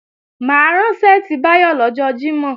Mà á rán ṣẹ́ẹ̀tì Báyọ̀ lọ́jọ́ Jímọ̀